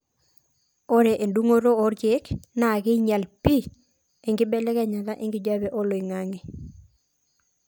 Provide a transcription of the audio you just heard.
ore endungoto orkiek naa keinyal pii enkibelekenyata enkijape oloingangi